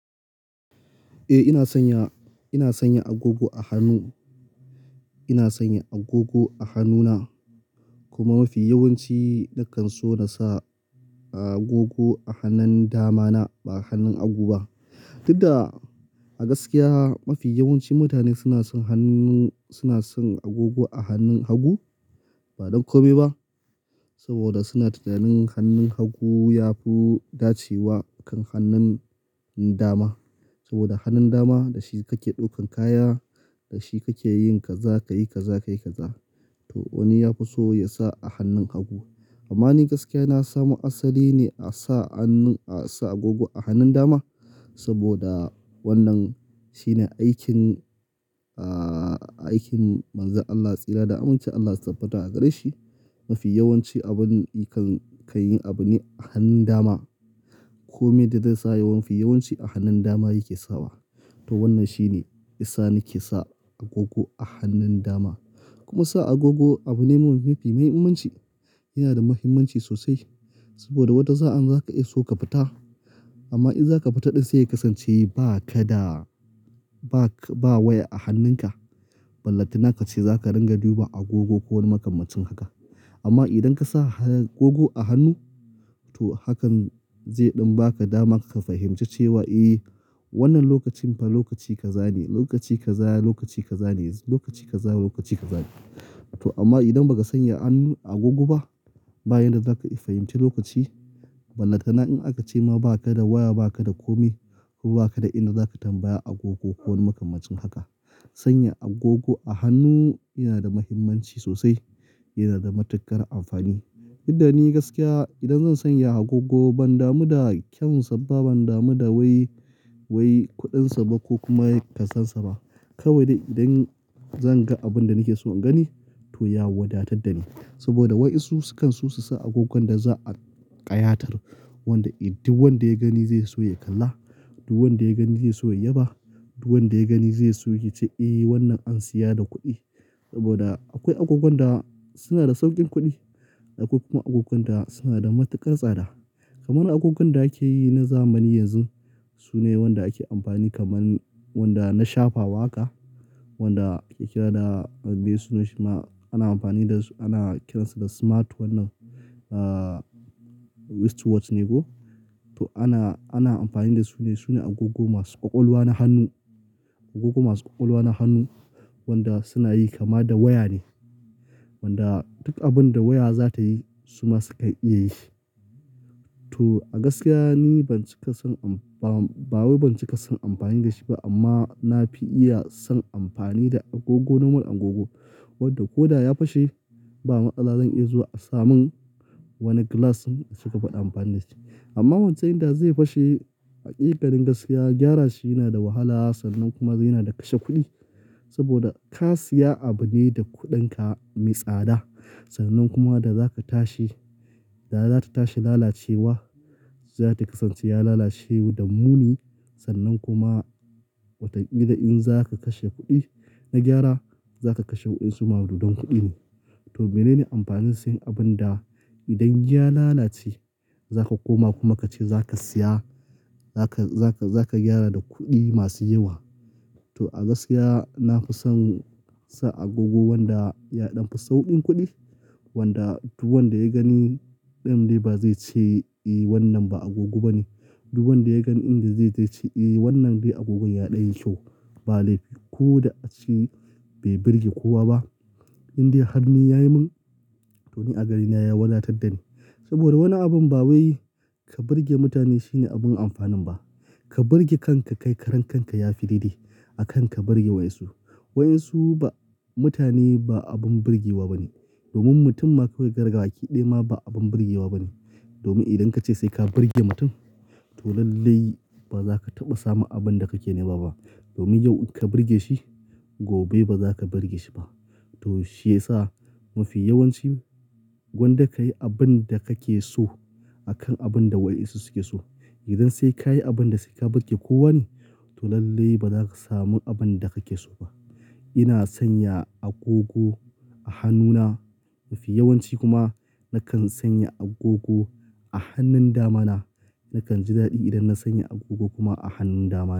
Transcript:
Eh ina sanya, ina sanya agogo a hannu. Ina sanya agogo a hannuna kuma mafi yawanci nakan so na sa agogo a hannun dama na ba hannun hagu ba. Dukda a gaskiya mafi yawancin mutane suna son hannun, suna son agogo a hannun hagu ba don kome ba. Saboda suna tunanin hannun hagu yafi dace wa kan hannun dama. Saboda hannun dama da shi kake ɗaukan kaya, da shi kake yin kaza ka yi kaza ka yi kaza. To wani ya fi so ya sa a hannun hagu. Amma ni gaskiya na samu asali ne a sa hannun, a sa agogo a hannun dama. Saboda wannan shine aikin, aikin manzon Allah, tsira da aminci Allah su tabbata a gare shi. Mafi yawanci abun kan yi abune a hannun dama. Kome da zai sa yawanci a hannun dama yake sawa. To wannan shine, isa nake sa agogo a hannun dama. Kuma sa agogo abu ne mafi muhimmanci. Yana da muhimmanci sosai saboda wata za'an zaka iya so ka fita amma idan zaka fita dai sai ka san cewa ba ka da, ba ka, ba waya a hannunka. Ballatana kace zaka ringa duban agogo ko wani makamashin haka. Amma idan ka sa agogo a hannu to hakan zai ɗan ba ka dama ka fahimci cewa eh wannan lokacin fa lokaci ka zane, lokaci ka za, lokaci ka zane, lokaci ka zaya, lokaci ka zane. To amma idan baka sanya hannun agogo ba, bayan da zaka fahimci lokaci ballatana in aka ce ma ba ka da waya, ba ka da kome ko ba ka da ina zaka tambaya agogo ko wani makamancin haka. Sanya agogo a hannu yana da muhimmanci sosai, yana da matuƙar amfani. Dukda ni gaskiya idan zan sanya agogo ban damu da kyan sa ba, ban damu da wai, wai kuɗin sa ba ko kuma kasansa ba. Kawai dai idan zan ga abun da nake so in gani to ya wadatadda ni. Saboda wai su kan su su sa agogon da za'a ƙayatar. Wanda duk wanda ya gani zai so ya kalla, duk wanda ya gani zai so ya yaba, duk wanda ya gani zai so ya ce eh wannan an siya da kuɗi. Saboda akwai agogon da suna da sauƙin kuɗi. Akwai kuma agogon da suna da matuƙar tsada. Kaman agogon da ake yi na zamani yanzu sune wanda ake amfani kaman wanda na shafawa haka. Wanda ake kira da, be suna shi ma ana amfani da su, ana kiransu da smart wannan, wristwatch ne ko? To ana, ana amfani da su ne. Sune agogo masu ƙwaƙwalwa na hannu. Agogo masu ƙwaƙwalwa na hannu wanda suna yi kama da waya ne. Wanda duk abun da waya za ta yi su ma sukan iya yi. To a gaskiya ni ban cika son am, ba wai ban cika son amfani da shi ba amma na fi iya son amfani da agogo noman agogo. Wanda ko da ya fashe ba matsala zan iya zuwa a samun wani glass suka fiɗa amfani da shi. Amma wancan idan zai fashe hakikanin gaskiya gyara shi yana da wahala sannan kuma yana da kashe kuɗi. Saboda ka siya abu ne da kuɗinka mai tsada sannan kuma da zaka tashi da zata tashi lalacewa, za ta kasance ya lalace da muni sannan kuma watan kila in zaka kashe kuɗi na gyara zaka kashe wasu makudan ne. To menene amfanin sayen abun da idan ya lalace zaka koma kuma ka ce zaka siya, zaka, zaka, zaka gyara da kuɗi masu yawa. To a gaskiya na fi son sa agogo wanda ya ɗan fi sauƙin kuɗi. Wanda duk wanda ya gani ɗin dai ba zai ce eh wannan ba agogo ba ne. Duk wanda ya gan in dai zai ce eh wannan dai agogon ya ɗan yi kyau. Ba laifi ko da ace bai birge kowa ba. Indai har ni ya yi mun, to ni a gare ni ya wadatadda ni. Saboda wani abun ba wai ka birge mutane shine abin amfanin ba. Ka birge kanka kai karen kanka ya fi daidai. Akan ka birge wai su. Wai su ba mutane ba abun birgewa ba ne. Domin mutum ma kawai kai gabaki ɗaya ma ba abun birgewa ba ne. Domin idan ka ce sai ka birge mutum to lallai ba za ka taɓa samun abun da kake nema ba. Domin yau ka birge shi gobe ba za ka birge shi ba. To shi ya sa mafi yawanci gwanda ka yi abun da kake so akan abun da wa insu suke so. Idan sai ka yi abun da sai ka birge ko wane to lallai ba za ka samu abun da kake so ba. Ina sanya agogo a hannuna. Mafi yawanci kuma nakan sanya agogo a hannun dama na. Nakan ji daɗi idan na sanya agogo kuma a hannun dama na.